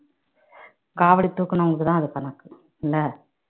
காவடி தூக்குனவுங்க்குத்தான் அது கணக்கு இல்ல